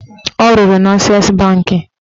Ọ rụrụ na Ases bankị